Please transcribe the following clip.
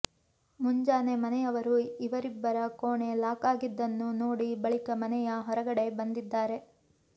ಮುಂಜಾನೆ ಮನೆಯವರು ಇವರಿಬ್ಬರ ಕೋಣೆ ಲಾಕ್ ಆಗಿದ್ದನ್ನು ನೋಡಿದ ಬಳಿಕ ಮನೆಯ ಹೊರಗಡೆ ಬಂದಿದ್ದಾರೆ